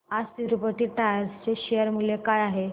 आज तिरूपती टायर्स चे शेअर मूल्य काय आहे